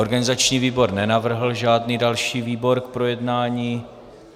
Organizační výbor nenavrhl žádný další výbor k projednání.